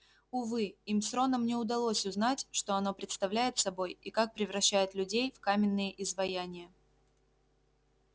увы им с роном не удалось узнать что оно представляет собой и как превращает людей в каменные изваяния